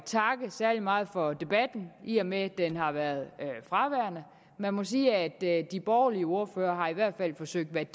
takke særlig meget for debatten i og med at den har været fraværende man må sige at de borgerlige ordførere i hvert fald har forsøgt at